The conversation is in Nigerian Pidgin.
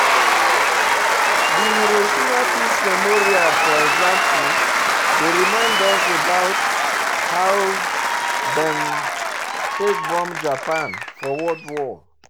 Di Hiroshima Peace Memorial for example dey remind us about how dem take bomb Japan for World War